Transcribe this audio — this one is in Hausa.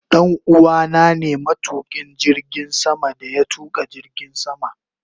Danuwa na ne matukin jirgin sama da ya tuka jirgin sama.